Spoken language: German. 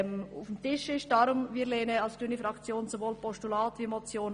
Deshalb lehnt die grüne Fraktion den Vorstoss sowohl als Motion wie auch als Postulat ab.